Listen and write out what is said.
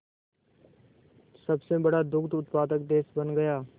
सबसे बड़ा दुग्ध उत्पादक देश बन गया